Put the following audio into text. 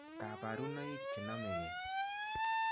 Kaparunoik chenamekei